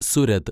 Surat